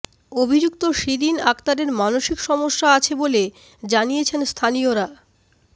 অভিযুক্ত শিরিন আক্তারের মানসিক সমস্যা আছে বলে জানিয়েছেন স্থানীয়রা